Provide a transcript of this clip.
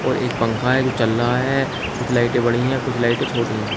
और एक पंखा है जो चल रहा है कुछ लाइटे बड़ी है कुछ लाइटे छोटी है।